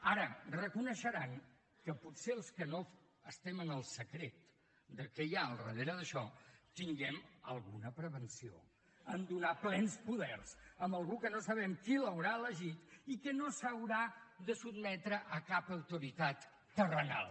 ara reconeixeran que potser els que no estem en el secret de què hi ha al darrere d’això tinguem alguna prevenció a donar plens poders a algú que no sabem qui l’haurà elegit i que no s’haurà de sotmetre a cap autoritat terrenal